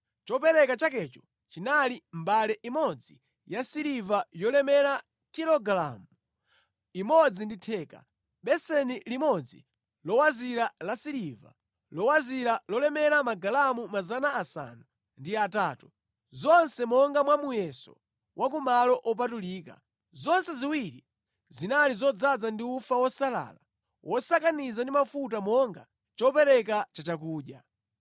Chopereka chakecho chinali mbale imodzi yasiliva yolemera kilogalamu imodzi ndi theka, beseni limodzi lowazira lasiliva lowazira lolemera magalamu 800, zonse monga mwa muyeso wa ku malo opatulika, zonse ziwiri zinali zodzaza ndi ufa wosalala wosakaniza ndi mafuta monga chopereka chachakudya;